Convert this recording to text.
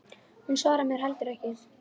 Hún svarar mér heldur ekki.